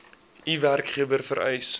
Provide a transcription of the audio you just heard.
u werkgewer vereis